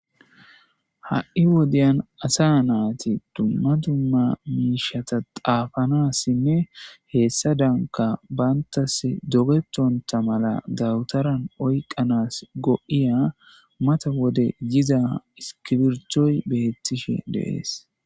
ha7i wodiyan asa nayti dumma dumma miishata xaafanassinne heessa danka bantas dogetonta mala dawutaran oykanas go7iya mata wode yiza iskibirittoy beettishe de7ees